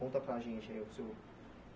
Conta para a gente aí o seu.